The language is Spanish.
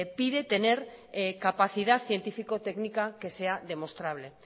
pide tener capacidad científico técnica que sea demostrable